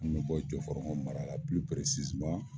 N be bɔ jɔ fɔlɔkɔ mara la pili piresiziman